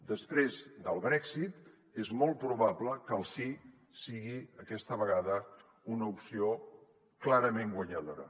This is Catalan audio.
després del brexit és molt probable que el sí sigui aquesta vegada una opció clarament guanyadora